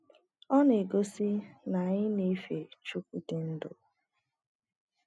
Ọ na - egosi na anyị na - efe Chukwu di ndụ.